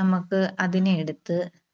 നമുക്ക് അതിനെ എടുത്ത്